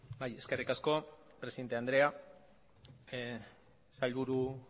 bai eskerrik asko presidente andrea sailburu